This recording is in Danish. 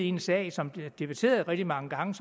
en sag som bliver debatteret rigtig mange gange